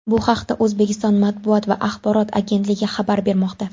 Bu haqda O‘zbekiston matbuot va axborot agentligi xabar bermoqda .